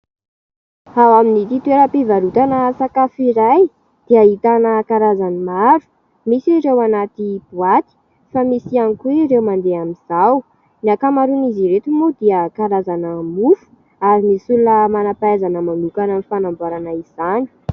Ao amin'ity toeram-pivarotana sakafo iray dia ahitana karazany maro misy ireo anaty boaty fa misy ihany koa ireo mandeha amin'izao. Ny ankamaroan' izy ireto moa dia karazana mofo ary misy olona manam-pahaizana manokana amin'ny fanamboarana izany.